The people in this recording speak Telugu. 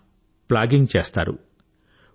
ఆయన ప్లాగింగ్ చేస్తారు